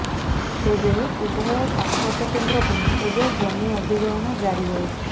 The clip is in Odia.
ତେବେ ଉଭୟ ତାପଜ କେନ୍ଦ୍ର ପାଇଁ ଏବେ ଜମି ଅଧିଗ୍ରହଣ ଜାରି ରହିଛି